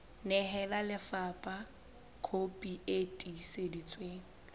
nehela lefapha kopi e tiiseditsweng